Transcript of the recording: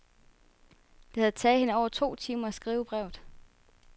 Det havde taget hende over to timer at skrive brevet.